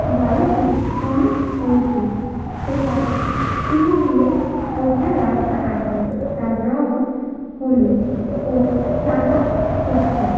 বাড়িটি অনেক উঁচু সেটা সিঁড়ী দিয়ে ওঠার রাস্তা আছে তার রং হলুদ ও সাদা ছোপ ছোপ।